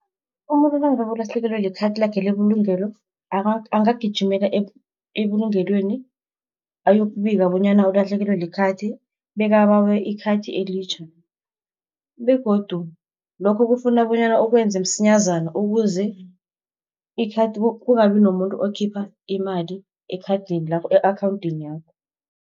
Umuntu nangabe ulahlekelwe likhathi lakhe lebulungelo, angagijimela ebulungelweni ayokubika bonyana ulahlekelwe likhathi, bekabawe ikhathi elitjha, begodu lokho kufuna bonyana ukwenze msinyazana ukuze kungabi nomuntu okhipha imali ekhadini lakho e-akhawunthini yakho.